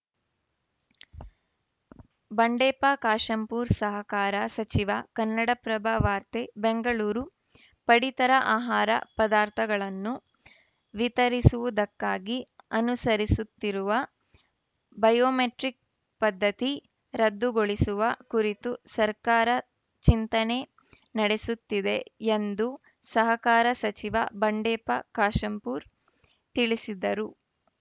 ಬಂಡೆಪ್ಪ ಕಾಶೆಂಪೂರ್ ಸಹಕಾರ ಸಚಿವ ಕನ್ನಡಪ್ರಭ ವಾರ್ತೆ ಬೆಂಗಳೂರು ಪಡಿತರ ಆಹಾರ ಪದಾರ್ಥಗಳನ್ನು ವಿತರಿಸುವುದಕ್ಕಾಗಿ ಅನುಸರಿಸುತ್ತಿರುವ ಬಯೋಮೆಟ್ರಿಕ್‌ ಪದ್ಧತಿ ರದ್ದುಗೊಳಿಸುವ ಕುರಿತು ಸರ್ಕಾರ ಚಿಂತನೆ ನಡೆಸುತ್ತಿದೆ ಎಂದು ಸಹಕಾರ ಸಚಿವ ಬಂಡೆಪ್ಪ ಕಾಶೆಂಪೂರ ತಿಳಿಸಿದರು